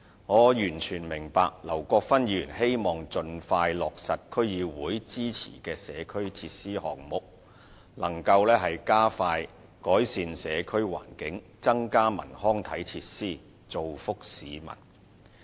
我完全明白劉國勳議員希望盡快落實區議會支持的社區設施項目，以加快改善社區環境和增加文康體設施，造福市民。